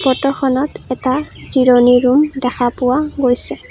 ফটোখনত এটা জিৰণি ৰুম দেখা পোৱা গৈছে।